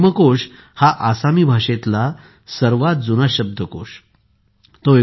हेमकोश हा आसामी भाषेतल्या सर्वात जुन्या शब्दकोशांपैकी एक आहे